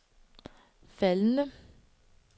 faldende